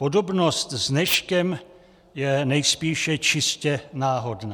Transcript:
Podobnost s dneškem je nejspíše čistě náhodná.